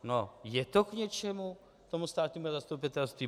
No je to k něčemu tomu státnímu zastupitelství?